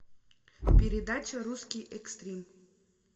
передача русский экстрим